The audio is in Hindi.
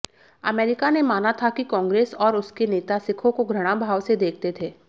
अमेरिका ने माना था कि कॉन्ग्रेस और उसके नेता सिखों को घृणाभाव से देखते थे